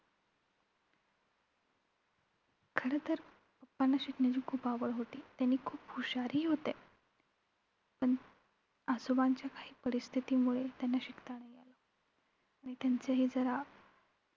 खरंतर papa ना शिकण्याची खूप आवड होती, ते खूप हुशार ही होते. पण आजोबांच्या काही परिस्थितीमुळे त्यांना शिकता नाही आलं. आणि त्यांचं हि जरा